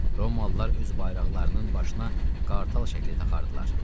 Romalılar öz bayraqlarının başına qartal şəkli taxardılar.